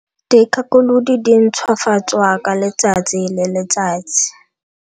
Dikgakolodi di ntšhwafatswa ka letsatsi le letsatsi.